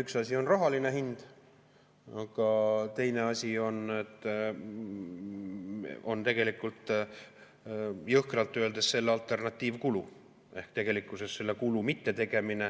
üks asi on rahaline hind, aga teine asi on tegelikult jõhkralt öeldes selle alternatiivkulu ehk tegelikkuses selle kulu mittetegemine.